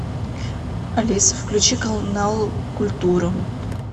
алиса включи канал культура